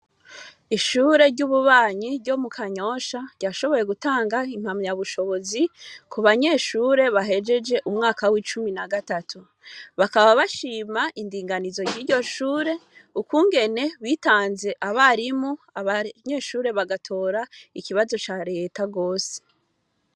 Ishure ry'ububanyi ryo mu kanyosha ryashoboye gutanga impamyabushobozi ku banyeshure bahejeje umwa w'icumi na gatatu. Bakaba bashima indinganizo ry'iryo shure, ukungene bitanze abarimu, abanyeshure bagatora ikibazo ca reta gose.